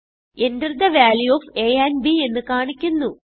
Enter the value of a and b എന്ന് കാണിക്കുന്നു